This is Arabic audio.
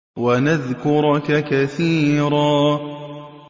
وَنَذْكُرَكَ كَثِيرًا